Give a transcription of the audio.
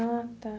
Ah, tá.